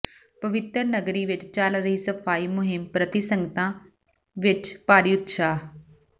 ਪਵਿੱਤਰ ਨਗਰੀ ਵਿਚ ਚੱਲ ਰਹੀ ਸਫ਼ਾਈ ਮੁਹਿੰਮ ਪ੍ਰਤੀ ਸੰਗਤਾਂ ਵਿਚ ਭਾਰੀ ਉਤਸ਼ਾਹ